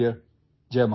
اپنا خیال رکھیں